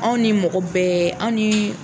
Anw ni mɔgɔ bɛɛ aw ni